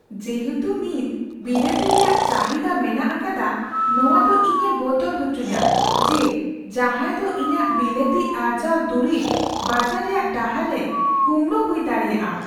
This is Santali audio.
ᱡᱮᱦᱮᱛᱩ ᱱᱤᱛ ᱵᱤᱞᱟᱹᱛᱤ ᱨᱮᱭᱟᱜ ᱪᱟᱹᱦᱤᱫᱟ ᱢᱮᱱᱟᱜ ᱟᱠᱟᱫᱟ, ᱱᱚᱶᱟ ᱫᱚ ᱤᱧᱮ ᱵᱚᱛᱚᱨ ᱦᱚᱪᱚᱧᱟ ᱡᱮ ᱡᱟᱦᱟᱸᱭ ᱫᱚ ᱤᱧᱟᱹᱜ ᱵᱤᱞᱟᱹᱛᱤ ᱟᱨᱡᱟᱣ ᱫᱩᱨᱤᱵ ᱵᱟᱡᱟᱨ ᱨᱮᱭᱟᱜ ᱰᱟᱦᱟᱨ ᱨᱮ ᱠᱩᱢᱲᱩ ᱦᱩᱭ ᱫᱟᱲᱮᱭᱟᱜᱼᱟ ᱾